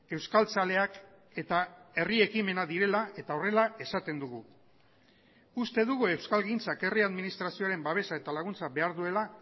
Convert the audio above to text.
euskaltzaleak eta herri ekimena direla eta horrela esaten dugu uste dugu euskalgintzak herri administrazioaren babesa eta laguntza behar duela